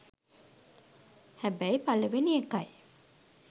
හැබැයි පළවෙනි එකයි